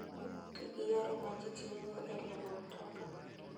Ti gi yore ma ji tiyogo e riembo mtoka.